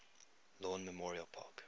lawn memorial park